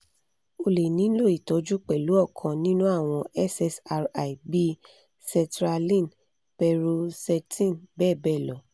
o le nilo itọju pẹlu ọkan ninu awọn ssri bii sertraline paroxetine bẹ́ẹ̀ bẹ́ẹ̀ lọ.